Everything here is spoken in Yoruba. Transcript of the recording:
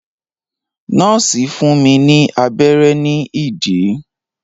Nọ́ọ̀sì fún mi ní abẹ́rẹ́ ní ìdí.